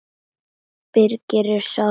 Birgis er sárt saknað.